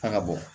A ka bɔ